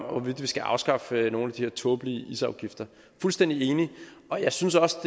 om hvorvidt vi skal afskaffe nogle af de her tåbelige isafgifter fuldstændig enig og jeg synes også